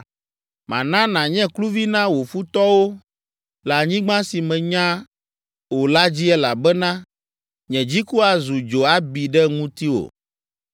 Mana nànye kluvi na wò futɔwo le anyigba si mènya o la dzi elabena nye dziku azu dzo abi ɖe ŋutiwò.”